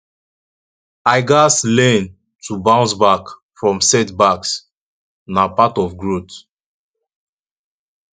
i gats learn to bounce back from setbacks na part of growth